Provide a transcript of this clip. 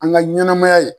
An ka ɲɛnɛmaya in